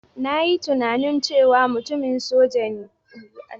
Na yi tunani cewa mutumin soja ne, amma shi ne mai tsoron.